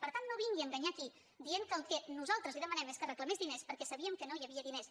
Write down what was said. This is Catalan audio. per tant no vingui a enganyar aquí dient que el que nosaltres li demanem és que reclamés diners perquè sabíem que no hi havia diners